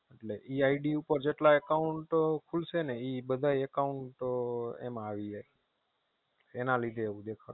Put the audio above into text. એટલે e ID પાર જેટલા Account ખુસલે ને એ બધા Account માં આવી જાય.